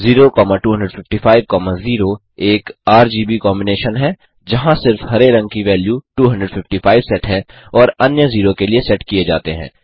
02550एक RGB combination है जहाँ सिर्फ़ हरे रंग की वेल्यू 255 सेट है और अन्य 0 के लिए सेट किए जाते हैं